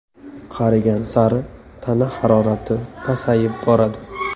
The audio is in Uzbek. Qarigan sari tana harorati pasayib boradi.